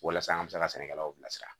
Walasa an bɛ se ka sɛnɛkɛlaw bilasira